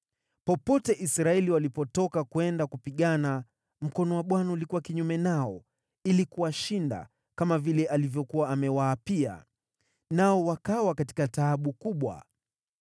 Popote Israeli walipotoka kwenda kupigana, mkono wa Bwana ulikuwa kinyume nao ili kuwashinda, kama vile alivyokuwa amewaapia. Nao wakawa katika taabu kubwa.